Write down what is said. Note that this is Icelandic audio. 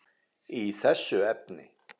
í þessu efni.